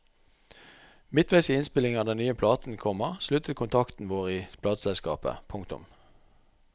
Midtveis i innspillingen av den nye platen, komma sluttet kontakten vår i plateselskapet. punktum